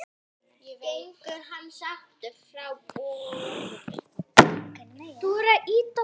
Gengur hann sáttur frá borði?